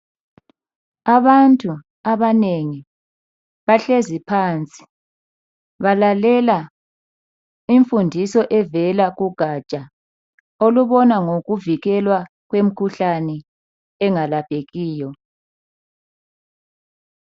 Abantu abanengi bahlezi phansi balalele imfundiso evela kugatsha olubona ngokuvikelwa kwemikhuhlane engalaphekiyo.